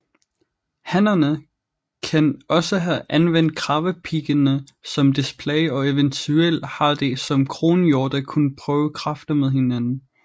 Hannerne kan også have anvendt kravepiggene som display og eventuelt har de som kronhjorte kunnet prøve kræfter med hinanden